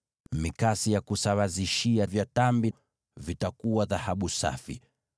Mikasi ya kusawazishia tambi, pamoja na masinia, zote zitakuwa za dhahabu safi.